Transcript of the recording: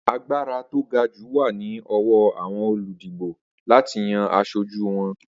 Agbára tó gajù wà ni ọwọ àwon olùdìbò láti yan asojú won.